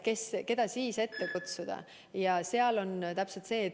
Keda siis ette kutsuda?